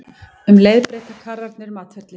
Um leið breyta karrarnir um atferli.